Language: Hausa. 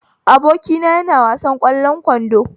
Abokina yana wasan ƙwallon kwando